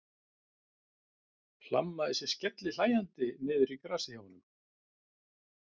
Hlammaði sér skellihlæjandi niður í grasið hjá honum.